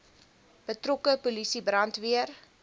betrokke polisie brandweer